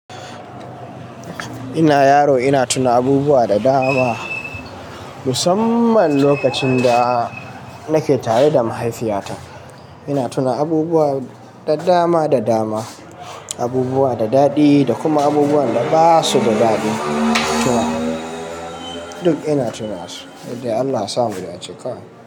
Ina yaro ina tuna abubuwa da dama, musamman lokacin da nake tare da mahaifiyata. Ina tuna abubuwa da dama da dama, abubuwa da daɗi da kuma abubuwan da ba su da daɗi. Duk ina tunansu, duk dai Allah ya sa mu dace kawai.